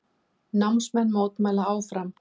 Námsmenn mótmæla áfram